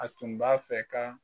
A tun b'a fɛ ka.